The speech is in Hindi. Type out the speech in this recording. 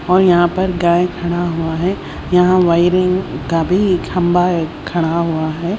और यहां पर गाय खड़ा हुआ है यहां वायरिंग का भी खंबा खड़ा हुआ है।